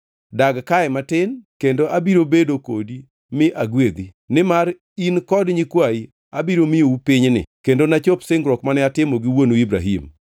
Dag kae matin, kendo abiro bedo kodi mi agwedhi. Nimar in kod nyikwayi abiro miyou pinyni kendo nachop singruok mane atimo gi wuonu Ibrahim.